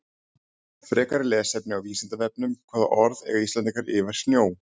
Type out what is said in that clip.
Frekara lesefni á Vísindavefnum Hvaða orð eiga Íslendingar yfir snjó?